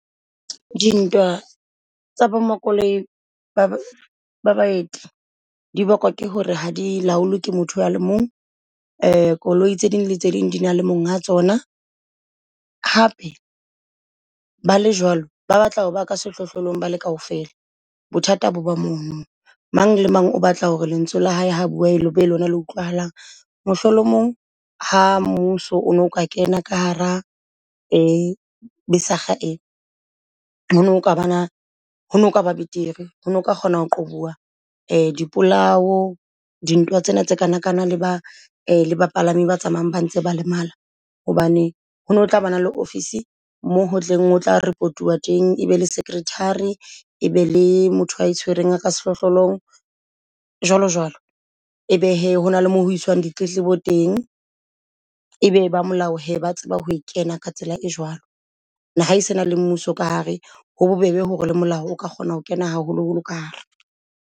Dintwa tsa bo ma koloi baeti di bakwa ke hore ha di laolwe ke motho ya le mong. Koloi tse ding le tse ding di na le monga tsona, hape ba le jwalo ba batla ho ba ka sehlohlolong bale kaofela bothata bo ba mono. Mang le mang o batla hore lentswe la hae ha bua le be lona le utlwahalang. Mohlolomong ha mmuso ono ka kena ka hara besig ee ho no nka banang ho no kaba betere ho nka kgona ho qoba dipolao di ntwa tsena tsa kanakana le ba bapalami ba tsamayang ba ntse ba lemala. Hobane hone ho tla bana le ofisi moo ho teng o tla report-uwa teng. E be le secretary, e be le motho a itshwereng ka sehlohlolong jwalo jwalo. Ebe hee hona le moo ho iswang ditletlebo teng, e be ba molao he ba tseba ho kena ka tsela e jwalo. Ha e se na le mmuso ka hare ho bobebe hore le molao o ka kgona ho kena, haholoholo ka hare.